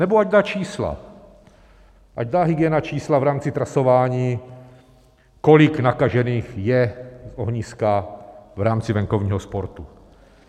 Nebo ať dá čísla, ať dá hygiena čísla v rámci trasování, kolik nakažených je z ohniska v rámci venkovního sportu.